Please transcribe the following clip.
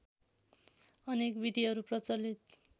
अनेक विधिहरू प्रचलित